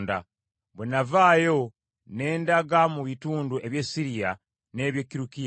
Bwe navaayo ne ndaga mu bitundu eby’e Siriya n’eby’e Kirukiya.